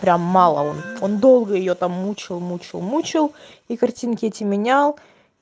прям мало он там долго её там мучил мучил мучил и картинки эти менял